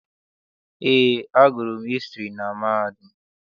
Eé, agụrụ m hịstrị na mahadum.